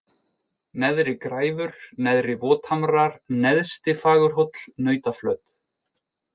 Neðri-Græfur, Neðri-Vothamrar, Neðsti-Fagurhóll, Nautaflöt